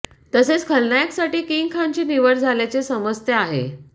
तसेच खलनायक साठी किंग खान ची निवड झाल्याचे समजते आहे